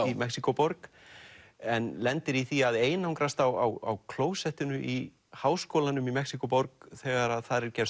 í Mexíkóborg en lendir í því að einangrast á klósettinu í háskólanum í Mexíkóborg þegar að þar er gerð